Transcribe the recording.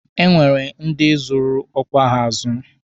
E nwere ndi zụrụ ọkwa ha azụ.